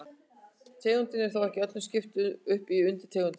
Tegundum er þó ekki öllum skipt upp í undirtegundir.